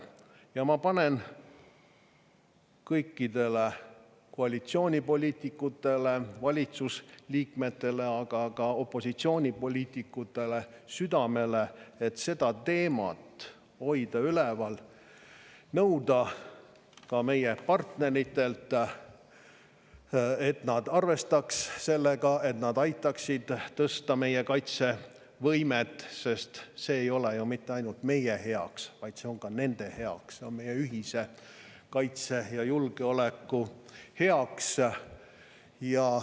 Ja ma panen kõikidele koalitsiooni poliitikutele, valitsusliikmetele, aga ka opositsiooni poliitikutele südamele, et seda teemat hoida üleval, nõuda ka meie partneritelt, et nad arvestaksid sellega ja aitaksid tõsta meie kaitsevõimet, sest see ei ole ju mitte ainult meie heaks, vaid see on ka nende heaks, see on meie ühise kaitse ja julgeoleku heaks.